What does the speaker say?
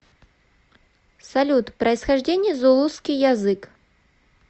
салют происхождение зулусский язык